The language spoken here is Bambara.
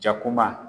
Jakuma